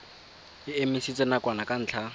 e emisitswe nakwana ka ntlha